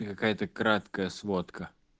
и какая-то краткая сводка